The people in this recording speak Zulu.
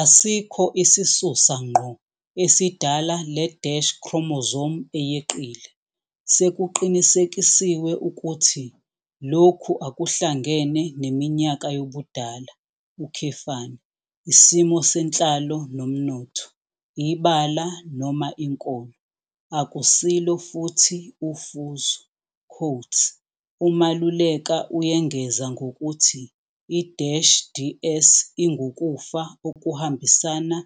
Asikho isisusa ngqo esidala le-chromosome eyeqile. Sekuqinisekisiwe ukuthi lokhu akuhlangene neminyaka yobudala, isimo senhlalo nomnotho, ibala noma inkolo. Akusilo futhi ufuzo. "UMaluleka uyengeza ngokuthi i-DS ingukufa okuhambisana